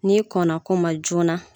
N'i kɔn na ko ma joona